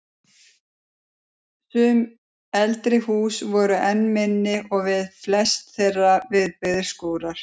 Sum eldri húsin voru enn minni og við flest þeirra viðbyggðir skúrar.